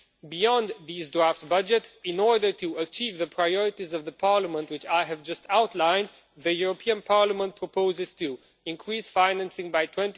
Beyond this draft budget, in order to achieve the priorities of Parliament which I have just outlined, the European Parliament proposes to increase financing by